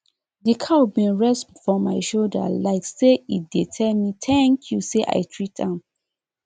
di cow bin rest for my shoulder like say e dey tell me thank you say i treat am